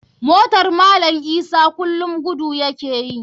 Motar malam isa kulum gudu ya ke yi.